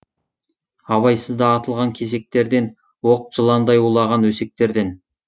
абайсызда атылған кесектерден оқ жыландай улаған өсектерден